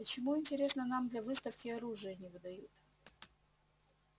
почему интересно нам для выставки оружие не выдают